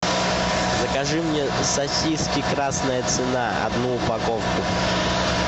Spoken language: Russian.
закажи мне сосиски красная цена одну упаковку